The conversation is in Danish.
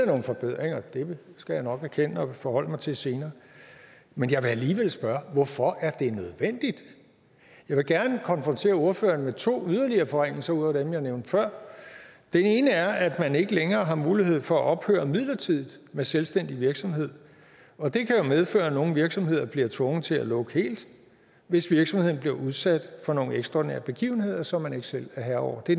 nogle forbedringer og det skal jeg nok erkende og forholde mig til senere men jeg vil alligevel spørge hvorfor er det nødvendigt jeg vil gerne konfrontere ordføreren med to yderligere forringelser ud over dem jeg nævnte før den ene er at man ikke længere har mulighed for at ophøre midlertidigt med selvstændig virksomhed og det kan jo medføre at en virksomhed bliver tvunget til at lukke helt hvis virksomheden bliver udsat for nogle ekstraordinære begivenheder som man ikke selv er herre over det